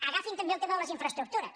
agafin també el tema de les infraestructures